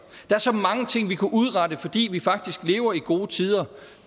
er så mange ting vi kunne udrette fordi vi faktisk lever i gode tider